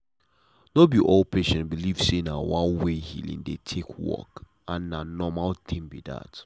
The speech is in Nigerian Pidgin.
no be all patient believe say na one way healing dey take work and na normal thing be that.